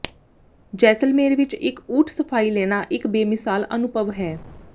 ਜੈਸਲਮੇਰ ਵਿਚ ਇਕ ਊਠ ਸਫ਼ਾਈ ਲੈਣਾ ਇਕ ਬੇਮਿਸਾਲ ਅਨੁਭਵ ਹੈ